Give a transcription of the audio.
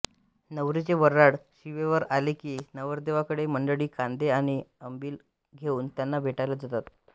नवरीचे वऱ्हाड शिवेवर आले की नवरदेवाडील मंडळी कांदे आणि अंबिल घेऊन त्यांना भेटायला जातात